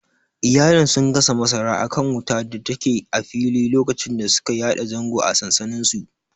Iyalin sun gasa masara akan wutar datake a fili lokacin da suka yada zango a sansaninsu.